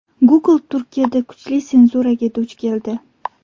Google Turkiyada kuchli senzuraga duch keldi.